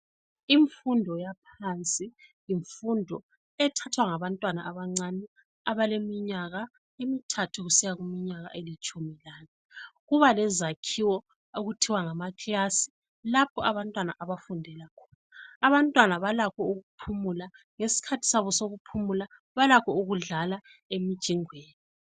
Imfundo yangaphansi yimfundo ethathwa ngabantwana abancane abaleminyaka emithathu kusiya kuminyaka elitshumi lanye kuba lezakhiwo okuthiwa ngamakilasi lapho abantwana abafundela khona. Abantwana balakho ukuphumula ngesikhathi sabo sokuphumula balakho ukudlala emjingweni.